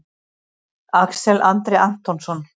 Axel Andri Antonsson